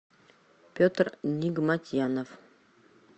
петр нигматьянов